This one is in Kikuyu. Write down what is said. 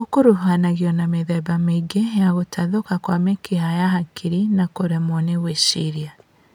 ũkuruhanagio na mĩthemba mĩingĩ ya gũtathũka kwa mĩkiha ya hakiri na kũremwo nĩ gwĩciria